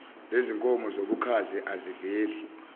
lezinkomo zobukhazi aziveli